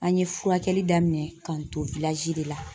An ye furakɛli daminɛ k'an to de la